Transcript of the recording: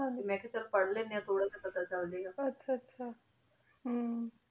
T ਮਨ ਕਿਯਾ ਪਰ ਲੇਨ੍ਦ੍ਯਨ ਆਂ ਠੁਰ ਜੇਯ ਪਤਾ ਚਲ ਜੇ ਗ ਆਹ ਆਹ ਹਮ